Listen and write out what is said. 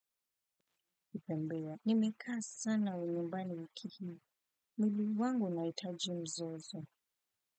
Kipembewa nimekaa sana nyumbani wiki hii mwili wangu unahitaji mzozo.